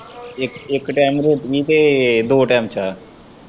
ਇੱਕ- ਇੱਕ ਟੈਮ ਰੋਟੀ ਤੇ ਦੋ ਟੈਮ ਚਾਹ।